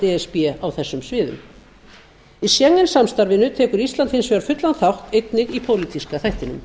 s b á þessum sviðum í schengen samstarfinu tekur ísland hins vegar fullan þátt einnig í pólitíska þættinum